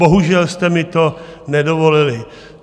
Bohužel jste mi to nedovolili.